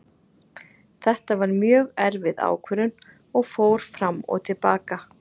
Þetta var mjög erfið ákvörðun og fór fram og til baka.